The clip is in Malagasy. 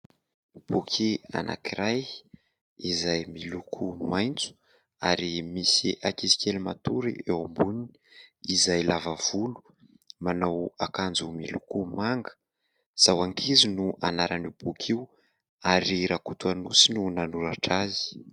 Boky anankiray izay miloko maitso ary misy ankizy kely matory eo amboniny izay lava volo manao akanjo miloko manga. "Izaho ankizy" no anarany io boky io, ary RAKOTOANOSY no nanoratra azy.